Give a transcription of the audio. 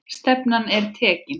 Stefnan er tekin.